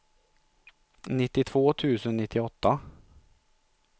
nittiotvå tusen nittioåtta